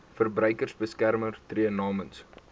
verbruikersbeskermer tree namens